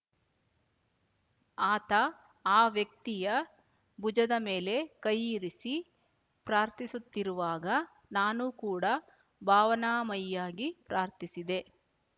ಆತ ಆ ವ್ಯಕ್ತಿಯ ಭುಜದ ಮೇಲೆ ಕೈಯಿರಿಸಿ ಪ್ರಾರ್ಥಿಸುತ್ತಿರುವಾಗ ನಾನು ಕೂಡಾ ಭಾವನಾಮಯಿಯಾಗಿ ಪ್ರಾರ್ಥಿಸಿದೆ